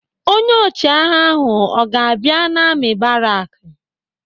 Onye ọchịagha ahụ ọ ga-abịa n'amị̀ baraki?